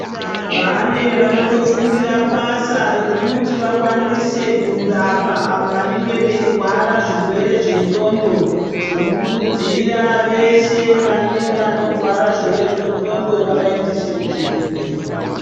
Pane vanotofundira basa rekuti vakwanise kurapa avo vanenge veirwara zvirwere zvendxondo tinokurudzira veshe vane vanorwara zvirwere zvendxondo vavaendese kuzvibhedhlera.